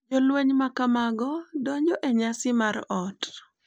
Jolweny makamago donjo e nyasi mar ot.